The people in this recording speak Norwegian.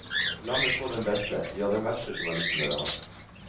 La meg få den beste, ja, den verste, journalisten dere har.